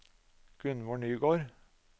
Gunvor Nygård